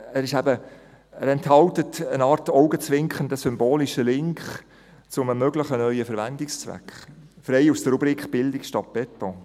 Er enthält gewissermassen augenzwinkernd einen symbolischen Link zu einem möglichen neuen Verwendungszweck, frei aus der Rubrik «Bildung statt Beton».